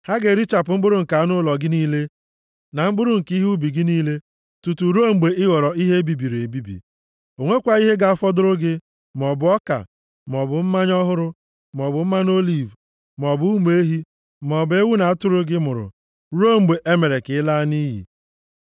Ha ga-erichapụ mkpụrụ nke anụ ụlọ gị niile na mkpụrụ nke ihe ubi gị niile tutu ruo mgbe ị ghọrọ ihe e bibiri ebibi. O nwekwaghị ihe ga-afọdụrụ gị, maọbụ ọka, maọbụ mmanya ọhụrụ maọbụ mmanụ oliv, maọbụ ụmụ ehi maọbụ ewu na atụrụ gị mụrụ, ruo mgbe e mere ka ị laa nʼiyi.